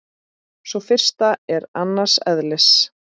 Sú fyrsta er annars eðlis.